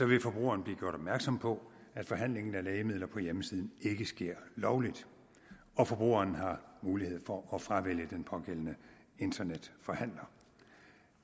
vil forbrugeren blive gjort opmærksom på at forhandlingen af lægemidler på hjemmesiden ikke sker lovligt og forbrugeren har mulighed for at fravælge den pågældende internetforhandler